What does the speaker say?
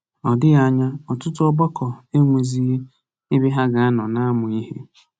Ọ dịghị anya, ọtụtụ ọgbakọ enwezighị ebe ha ga-anọ na-amụ ihe.